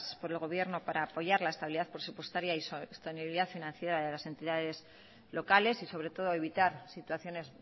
por el gobierno para apoyar la estabilidad presupuestaria y sostenibilidad financiera de las entidades locales y sobre todo evitar situaciones